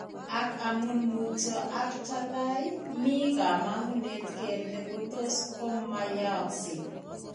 Ak amun mutyo ak talaay, mii kaamangunet kele kotos ko many'aakse.